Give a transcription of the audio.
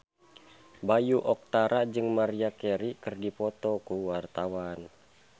Bayu Octara jeung Maria Carey keur dipoto ku wartawan